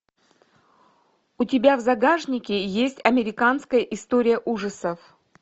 у тебя в загашнике есть американская история ужасов